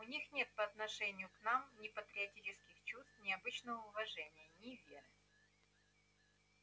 у них нет по отношению к нам ни патриотических чувств ни обычного уважения ни веры